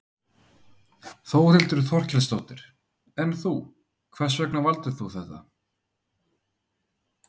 Þórhildur Þorkelsdóttir: En þú, hvers vegna valdir þú þetta?